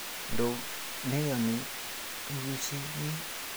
Ndo meyanii turishe nyii